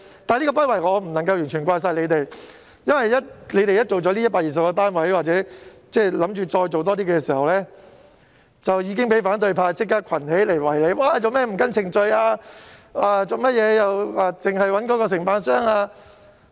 但我不能完全怪責政府的不為，因為當它興建這120個單位後或計劃興建更多單位時，已立即被反對派群起圍堵，質問為何不依程序行事及只選用某承辦商。